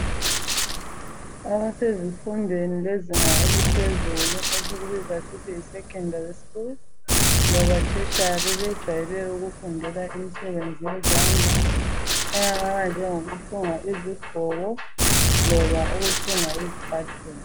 abasezi fundweni zezinga laphezulu esilibiza sisithi yi secondary school loba tertiary sebejayele ukufunda imisebenzi yezandla enjengoku thunga izigqoko loba ukuthunga izicathulo